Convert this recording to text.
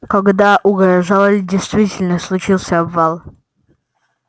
когда угрожал или действительно случился обвал